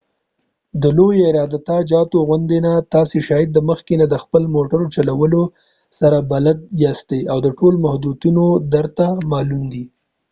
د لوي عراده جاتو غوندي نه ،تاسی شاید د مخکې نه د خپل موټر چلولو سره بلد یاستۍ او د ټول محدوديتونه درته معلوم دي